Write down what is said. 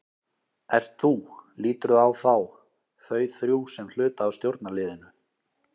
Ert þú, líturðu á þá, þau þrjú sem hluta af stjórnarliðinu?